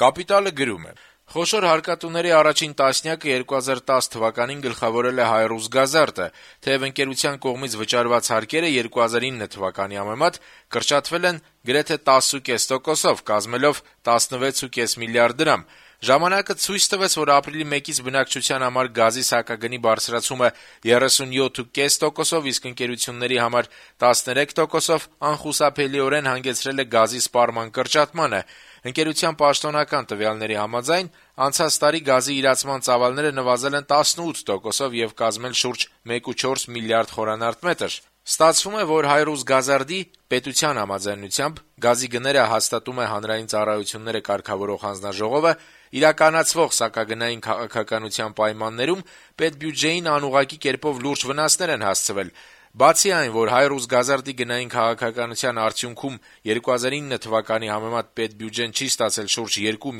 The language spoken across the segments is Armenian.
«Կապիտալ»-ը գրում է. - «Խոշոր հարկատուների առաջին տասնյակը 2010 թվականին գլխավորել է «ՀայՌուսգազարդը», թեեւ ընկերության կողմից վճարված հարկերը 2009 թվականի համեմատ կրճատվել են 10,4%-ով՝ կազմելով 16,5 մլրդ դրամ։ Ժամանակը ցույց տվեց, որ ապրիլի 1-ից բնակչության համար գազի սակագնի բարձրացումը 37,5%-ով, իսկ ընկերությունների համար՝ 13%-ով անխուսափելիորեն հանգեցրել է գազի սպառման կրճատմանը։ Ընկերության պաշտոնական տվյալների համաձայն՝ անցած տարի գազի իրացման ծավալները նվազել են 18%-ով եւ կազմել շուրջ 1,4 մլրդ խմ։ Ստացվում է, որ «ՀայՌուսգազարդի»՝ պետության համաձայնությամբ (գազի գները հաստատում է Հանրային ծառայությունները կարգավորող հանձնաժողովը) իրականացվող սակագնային քաղաքականության պայմաններում պետբյուջեին անուղղակի կերպով լուրջ վնասներ են հասցվել։ Բացի այն, որ «ՀայՌուսգազարդի» գնային քաղաքականության արդյունքում 2009 թվականի համեմատ պետբյուջեն չի ստացել շուրջ 2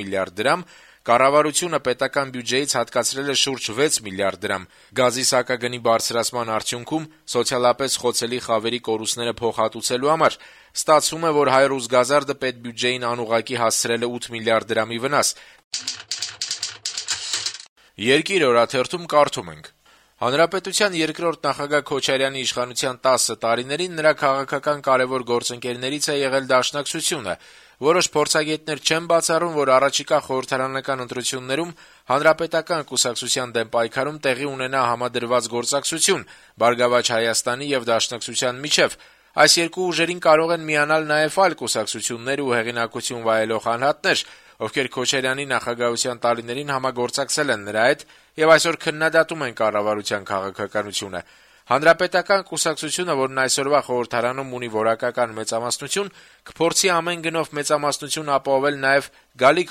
մլրդ դրամ, կառավարությունը պետական բյուջեից հատկացրել է շուրջ 6 մլրդ դրամ՝ գազի սակագնի բարձրացման արդյունքում սոցիալապես խոցելի խավերի կորուստները փոխհատուցելու համար։ Ստացվում է, որ «ՀայՌուսգազարդը» պետբյուջեին անուղղակի հասցրել է 8 մլրդ դրամի վնաս»: «Երկիր» օրաթերթում կարդում ենք. - «Հանրապետության երկրորդ նախագահ Քոչարյանի իշխանության տասը տարիներին նրա քաղաքական կարեւոր գործընկերներից է եղել Դաշնակցությունը: Որոշ փորձագետներ չեն բացառում, որ առաջիկա խորհրդարանական ընտրություններում Հանրապետական կուսակցության դեմ պայքարում տեղի ունենա համադրված գործակցություն «Բարգավաճ Հայաստան»-ի եւ ՀՅԴ-ի միջեւ: Այս երկու ուժերին կարող են միանալ նաեւ այլ կուսակցություններ ու հեղինակություն վայելող անհատներ, ովքեր Քոչարյանի նախագահության տարիներին համագործակցել են նրա հետ եւ այսօր քննադատում են կառավարության քաղաքականությունը: Հանրապետական կուսակցությունը, որն այսօր խորհրդարանում ունի որակական մեծամասնություն, կփորձի ամեն գնով մեծամասնություն ապահովել նաեւ գալիք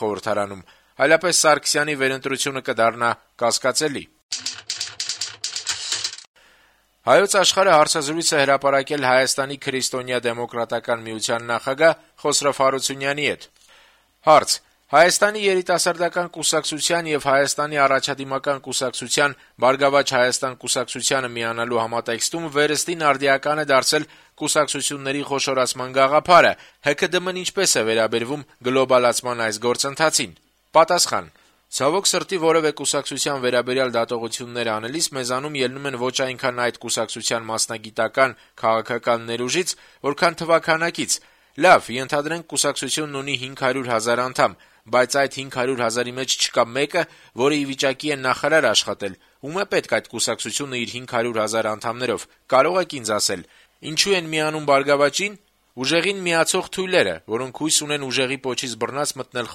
խորհրդարանում, այլապես Սարգսյանի վերընտրությունը կդառնա կասկածելի»: «Հայոց Աշխարհ»-ը հարցազրույց է հրապարակել Հայաստանի քրիստոնեա-դեմոկրատական միության նախագահ Խոսրով Հարությունյանի հետ: Հարց.- «Հայաստանի երիտասարդական կուսակցության եւ Հայաստանի առաջադիմական կուսակցության «Բարգավաճ Հայաստան» կուսակցությանը միանալու համատեքստում վերստին արդիական է դարձել կուսակցությունների խոշորացման գաղափարը։ ՀՔԴՄ-ն ինչպե՞ս է վերաբերվում «գլոբալացման» այս գործընթացին»։ Հարությունյանը պատասխանում է. - «Ցավոք սրտի, որեւէ կուսակցության վերաբերյալ դատողություններ անելիս մեզանում ելնում են ոչ այնքան այդ կուսակցության մասնագիտական, քաղաքական ներուժից, որքան թվաքանակից։ Լավ, ենթադրենք, կուսակցությունն ունի 500 հազար անդամ, բայց այդ 500 հազարի մեջ չկա մեկը, որը ի վիճակի է նախարար աշխատել։ Ո՞ւմ է պետք այդ կուսակցությունը իր 500 հազար անդամներով` կարո՞ղ եք ինձ ասել… Ինչո՞ւ են միանում «Բարգավաճին»։ Ուժեղին միացող թույլերը, որոնք հույս ունեն, ուժեղի պոչից բռնած` մտնել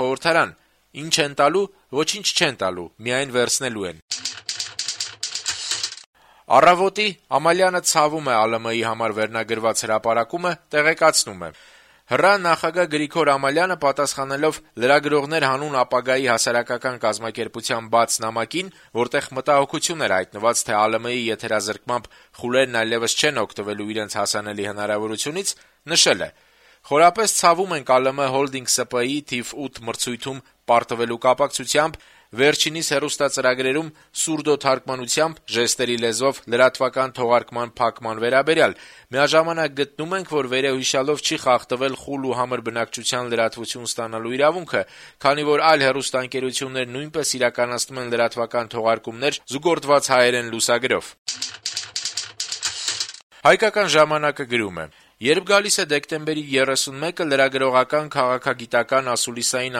խորհրդարան, ի՞նչ են տալու. ոչինչ չեն տալու` միայն վերցնելու են»։ «Առավոտ»-ի` «Ամալյանը ցավում է ԱԼՄ-ի համար» հրապարակումը տեղեկացնում է. - «Հեռուստատեսության եւ ռադիոյի ազգային հանձնաժողովի նախագահ Գրիգոր Ամալյանը պատասխանելով «Լրագրողներ հանուն ապագայի» հասարակական կազմակերպության բաց նամակին, որտեղ մտահոգություն էր հայտնված, թե ԱԼՄ-ի եթերազրկմամբ խուլերն այլեւս չեն օգտվելու իրենց հասանելի հնարավորությունից` նշել է. - «Խորապես ցավում ենք ԱԼՄ-ՀՈԼԴԻՆԳ ՍՊԸ-ի թիվ 8 մրցույթում պարտվելու կապակցությամբ վերջինիս հեռուստածրագրերում սուրդոթարգմանությամբ լրատվական թողարկման փակման վերաբերյալ: Միաժամանակ գտնում ենք, որ վերոհիշյալով չի խախտվել խուլ ու համր բնակչության լրատվություն ստանալու իրավունքը, քանի որ այլ հեռուստաընկերություններ նույնպես իրականացնում են լրատվական թողարկումներ` զուգորդված հայերեն լուսագրով»: «Հայկական ժամանակ»-ը գրում է. - «Երբ գալիս է դեկտեմբերի 31-ը, լրագրողական, քաղաքագիտական, ասուլիսային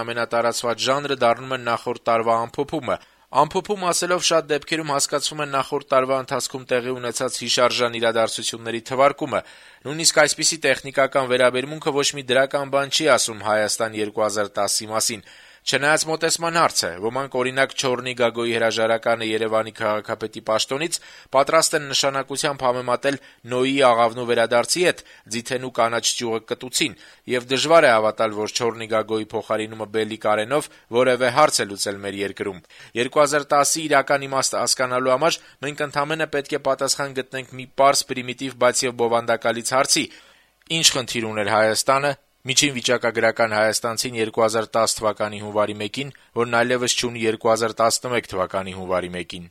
ամենատարածված ժանրը դառնում է նախորդ տարվա ամփոփումը: Ամփոփում ասելով, ահա, շատ դեպքերում հասկացվում է նախորդ տարվա ընթացքում տեղի ունեցած հիշարժան իրադարձությունների թվարկումը: Նույնիսկ այսպիսի տեխնիկական վերաբերմունքը ոչ մի դրական բան չի ասում «Հայաստան-2010»-ի մասին: Չնայած` մոտեցման հարց է. ոմանք, օրինակ, Չոռնի Գագոյի հրաժարականը Երեւանի քաղաքապետի պաշտոնից պատրաստ են նշանակությամբ համեմատել Նոյի աղավնու վերադարձի հետ` ձիթենու կանաչ ճյուղը կտուցին… Եվ դժվար է հավատալ, որ Չոռնի Գագոյի փոխարինումը Բելի Կարենով որեւէ հարց է լուծել մեր երկրում: 2010-ի իրական իմաստը հասկանալու համար մենք ընդամենը պետք է պատասխան գտնենք մի պարզ, պրիմիտիվ, բայց եւ բովանդակալից հարցի. ի՞նչ խնդիր ուներ Հայատանը, միջին վիճակագրական հայաստանցին 2010 թվականի հունվարի 1-ին, որն այլեւս չունի 2011 թվականի հունվարի 1-ին: